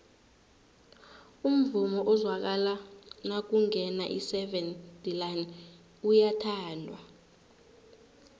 umvumo ozwakala nakungena iseven delaan uyathandwa